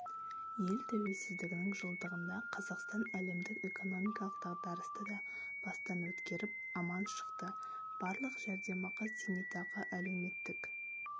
ел тәуелсіздігінің жылдығында қазақстан әлемдік экономикалық дағдарысты да бастан өткеріп аман шықты барлық жәрдемақы зейнетақы әлеуметтік